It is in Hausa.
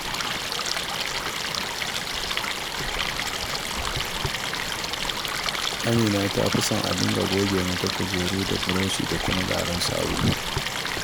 Amina ta fi son a dinga goge mata kujeru da burushi da kuma garin sabulu